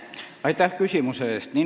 Aitäh küsimuse eest!